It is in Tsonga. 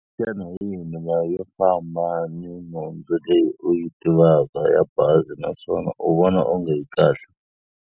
Xana hi yihi milawu yo famba ni nhundzu leyi u yi tivaka ya bazi naswona u vona onge yi kahle?